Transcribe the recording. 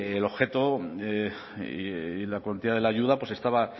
la cuantía de la ayuda estaba